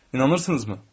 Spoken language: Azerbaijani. İnanırsınızmı?